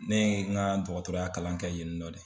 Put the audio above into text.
Ne ye n ka dɔgɔtɔrɔya kalan kɛ yenni nɔ de.